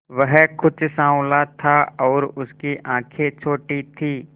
वह कुछ साँवला था और उसकी आंखें छोटी थीं